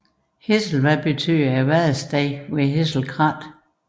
Hesselvad betyder vadestedet ved Hassle kratte